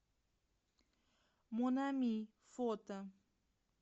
мон ами фото